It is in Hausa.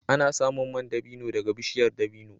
Ana samun man dabino daga bishiyar dabino